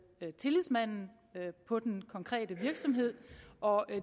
tillidsmanden på den konkrete virksomhed og